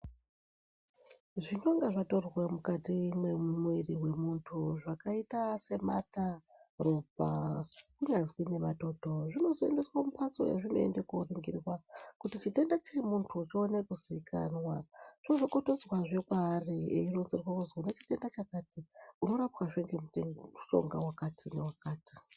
Zvinonga zvatorwa mwukati mwemwiri wemunthu zvakaita semata, ropa kunyazwi nematoto. Zvinozoendeswe mumphatso yazvinoenda konlringirwa kuti chitenda chiri mumunthu chione kuzikanwa zvozokotoswazve kwaari eironzerwa kuti une chitenda chakati unorapwazve ngemushonga wakati newakati.